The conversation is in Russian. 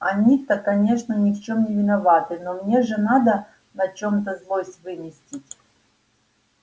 они то конечно ни в чём не виноваты но мне же надо на чём-то злость выместить